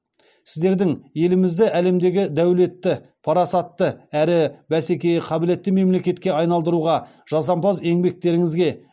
сіздердің елімізді әлемдегі дәулетті парасатты әрі бәсекеге қабілетті мемлекетке айналдыруға жасампаз еңбектеріңізге